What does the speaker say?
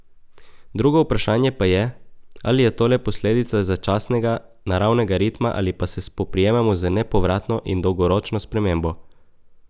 Drugo vprašanje pa je, ali je to le posledica začasnega, naravnega ritma ali pa se spoprijemamo z nepovratno in dolgoročno spremembo.